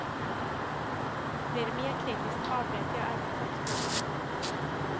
Blir det mer kritiskt avbryter jag arbetet.